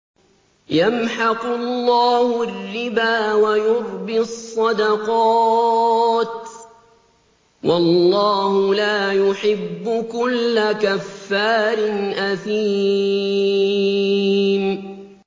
يَمْحَقُ اللَّهُ الرِّبَا وَيُرْبِي الصَّدَقَاتِ ۗ وَاللَّهُ لَا يُحِبُّ كُلَّ كَفَّارٍ أَثِيمٍ